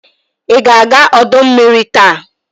Ị ga-aga ọdọ mmiri taa?